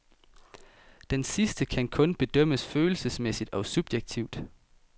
Denne sidste kan kun bedømmes følelsesmæssigt og subjektivt.